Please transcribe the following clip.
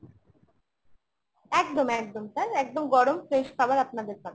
একদম একদম sir একদম গরম fresh খাবার আপনাদের পাঠানো ।